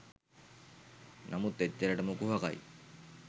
නමුන් එච්චරටම කුහකයි.